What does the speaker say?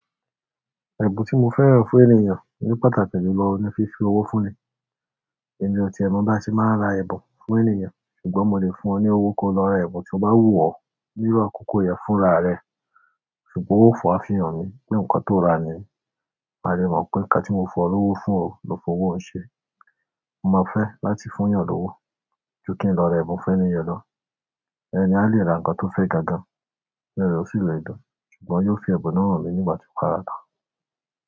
Ẹ̀bùn tí mo fẹ́ran fún ènìyàn ni pàtàkì jùlọ ni fífi owó fún ni. Ẹni ọtí ẹ mọ bá ṣe máa ra ẹ̀bùn fún ènìyàn ṣùgbọ́n mo lè fún ọ ní owó kí o lọ ra ẹ̀bùn tí o bá wù ọ́ níru akokò yẹn fúnra rẹ ṣùgbọ́n ó wa fihàn mi pé nǹkan tó ra ni. Ma lè mọ̀ pé ǹkan tí mo fún lowó fún o ló fi owó un ṣe. Mo ma fe láti funyan lowo, ju kin lo ra ẹ̀bùn fún ẹni yen lo ẹni yen a lè ra nǹkan tó fẹ́ gan gan inú re ó sì lẹ̀dùn, ṣùgbọ́n yóò fi ẹ̀bùn náà hàn mí nígbà tí ó bá rà á tán.